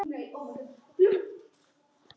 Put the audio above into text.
Þetta verði bálkur.